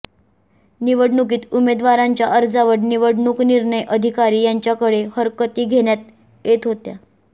निवडणुकीत उमेदवारांच्या अर्जावर निवडणूक निर्णय अधिकारी यांच्याकडे हरकती घेण्यात येत होत्या